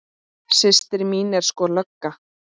Systir mín er sko lögga